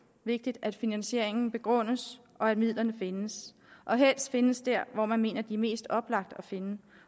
vigtigt at finansieringen begrundes og at midlerne findes og helst findes der hvor man mener det er mest oplagt at finde